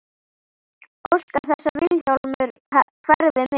Óska þess að Vilhjálmur hverfi með.